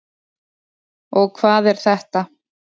Og hvað er þetta?